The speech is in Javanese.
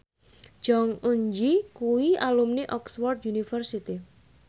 Jong Eun Ji kuwi alumni Oxford university